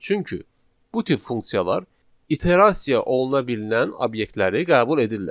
Çünki bu tip funksiyalar iterasiya oluna bilinən obyektləri qəbul edirlər.